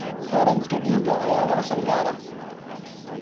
Orange-ga dhiigga ayaa leh asal gaar ah.